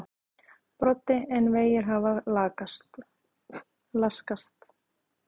Broddi: En vegir hafa laskast?